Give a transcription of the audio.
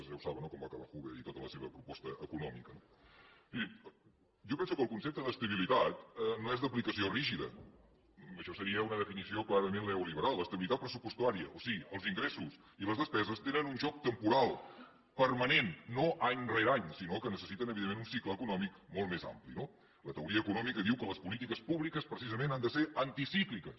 ja ho saben no com va acabar hoover i tota la seva proposta econòmica no mirin jo penso que el concepte d’estabilitat no és d’aplicació rígida això seria una definició clarament neoliberal estabilitat pressupostària o sigui els ingressos i les despeses tenen un joc temporal permanent no any rere any sinó que necessiten evidentment un cicle econòmic molt més ampli no la teoria econòmica diu que les polítiques públiques precisament han de ser anticícliques